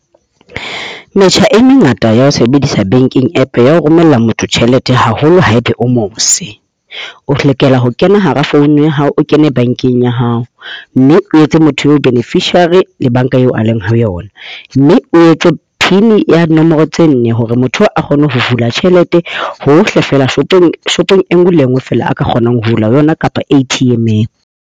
Metjha e mengata ya ho sebedisa Banking App ya ho romella motho tjhelete haholo haebe o mose. O lokela ho kena hara founu ya hao, o kene bankeng ya hao. Mme o etse motho eo beneficiary le banka eo a leng ho yona. Mme o etse pin ya dinomoro tse nne hore motho eo a kgone ho hula tjhelete hohle fela, shopong e nngwe le nngwe fela a ka kgonang ho hula ho yona kapa ATM-eng.